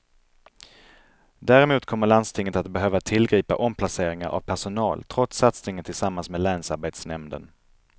Däremot kommer landstinget att behöva tillgripa omplaceringar av personal trots satsningen tillsammans med länsarbetsnämnden.